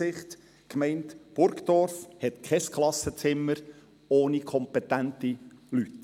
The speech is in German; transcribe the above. Die Gemeinde Burgdorf hat kein Klassenzimmer ohne kompetente Leute.